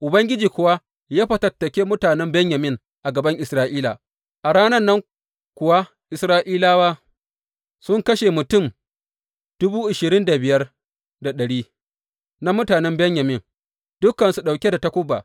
Ubangiji kuwa ya fatattake mutanen Benyamin a gaban Isra’ila; a ranar kuwa Isra’ilawa sun kashe mutum na mutanen Benyamin, dukansu ɗauke da takuba.